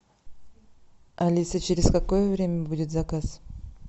алиса через какое время будет заказ